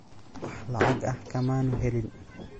Wax lacag ah kamaanu helin.